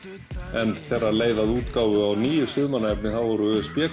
en þegar leið að útgáfu á nýju stuðmanna efni þá voru